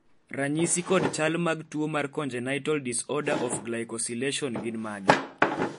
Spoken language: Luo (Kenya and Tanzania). ranyisi kod chal mag tuo mar Congenital disorder of glycosylation gin mage?